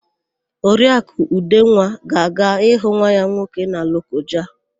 Oriakụ Udenwa ga-aga ịhụ nwa ya nwoke na Lokoja.